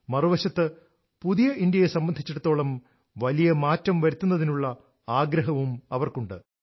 മറുവശത്ത് പുതിയ ഇന്ത്യയെ സംബന്ധിച്ചിടത്തോളം വലിയ മാറ്റം വരുത്തുന്നതിനുള്ള ആഗ്രഹവും അവർക്കുണ്ട്